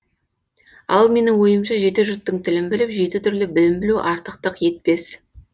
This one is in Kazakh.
ал менің ойымша жеті жұрттың тілін біліп жеті түрлі білім білу артықтық етпес